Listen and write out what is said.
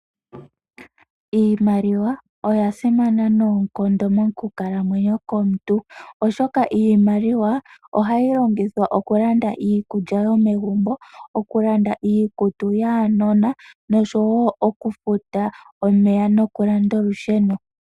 Iimaliwa oya simana noonkondo mokukalamwenyo komuntu oshoka Iimaliwaa oha yilongithwa oku landa iikulya yomegumbo, oku landa iikutu yaanona nosho woo okufuta omeya no kulanda olusheno.